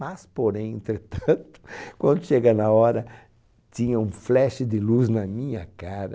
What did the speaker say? Mas, porém, entretanto, quando chega na hora, tinha um flash de luz na minha cara.